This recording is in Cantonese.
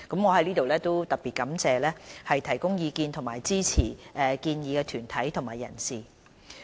我在此特別感謝提供意見及支持建議的團體和人士。